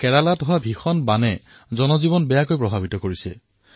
কেৰালাত ভীষণ বানপানীয়ে জনজীৱনক বেয়াকৈ প্ৰভাৱিত কৰিছে